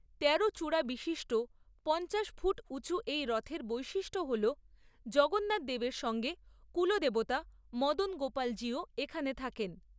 তেরো চূড়া বিশিষ্ট পঞ্চাশ ফুট উচু এই রথের বৈশিষ্ট্য হল জগন্নাথ দেবের সঙ্গে কূলদেবতা মদনগোপালজিও এখানে থাকেন।